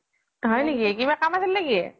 হয় নেকি কিবা কাম আছিল নে কি?